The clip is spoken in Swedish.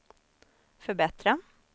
förbättra